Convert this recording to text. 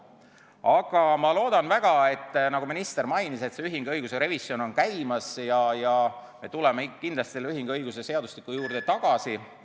Aga ma loodan väga, et kuna ühinguõiguse revisjon on käimas, nagu minister mainis, siis me tuleme kindlasti selle ühinguõiguse juurde tagasi.